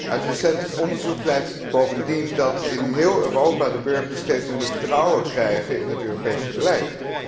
Uit recent onderzoek blijkt bovendien dat in heel Europa de burgers steeds minder vertrouwen krijgen in het Europees beleid.